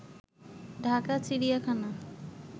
ঢাকা চিড়িয়াখানা